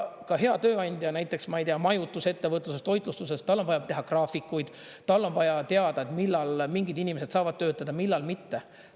Ka hea tööandja, näiteks, ma ei tea, majutusettevõtluses, toitlustuses, tal on vaja teha graafikuid, tal on vaja teada, millal mingid inimesed saavad töötada, millal mitte.